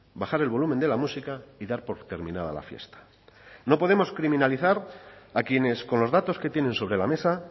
bajar el volumen de la música y dar por terminada la fiesta no podemos criminalizar a quienes con los datos que tienen sobre la mesa